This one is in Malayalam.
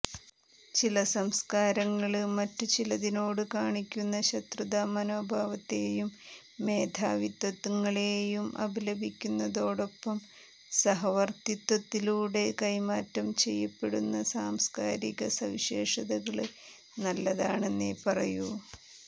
ചില സാംസ്കാരങ്ങള് മറ്റു ചിലതിനോട് കാണിക്കുന്ന ശത്രുതാമനോഭാവത്തെയും മോധാവിത്വങ്ങളെയും അപലപിക്കുന്നതോടൊപ്പം സഹവര്ത്തിത്വത്തിലൂടെ കൈമാറ്റം ചെയ്യപ്പെടുന്ന സാംസ്കാരിക സവിശേഷതകള് നല്ലതാണെന്നേ പറയൂ